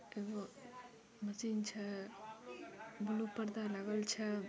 एगो मशीन छे ब्लू पर्दा लागल छे।